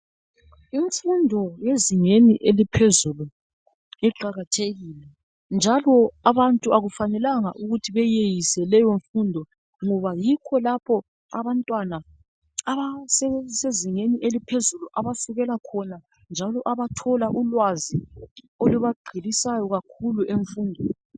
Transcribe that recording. Imfundo yezingeni eliphezulu iqakathekile njalo abantu akufanelanga ukuthi beyeyise leyo mfundo ngoba yikho lapho abantwana abasese zingeni eliphezulu abasukela khona njalo abathola ulwazi olubagqilisayo kakhulu emfundweni.